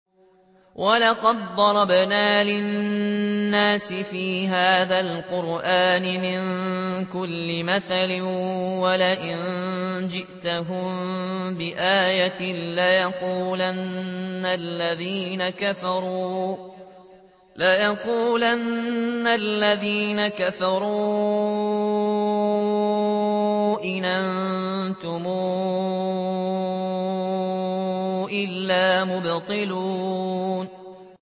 وَلَقَدْ ضَرَبْنَا لِلنَّاسِ فِي هَٰذَا الْقُرْآنِ مِن كُلِّ مَثَلٍ ۚ وَلَئِن جِئْتَهُم بِآيَةٍ لَّيَقُولَنَّ الَّذِينَ كَفَرُوا إِنْ أَنتُمْ إِلَّا مُبْطِلُونَ